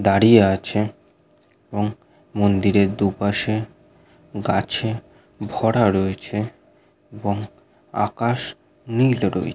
দাঁড়িয়ে আছে এবং মন্দিরের দুপাশে গাছে ভরা রয়েছে এবং আকাশ নীল রয়েছে।